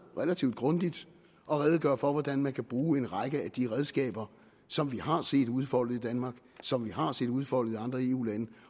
relativt grundigt at redegøre for hvordan man kan bruge en række af de redskaber som vi har set udfoldet i danmark som vi har set udfoldet i andre eu lande